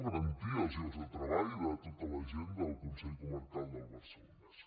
garantir els llocs de treball de tota la gent del consell comarcal del barcelonès